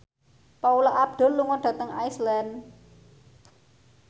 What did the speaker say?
Paula Abdul lunga dhateng Iceland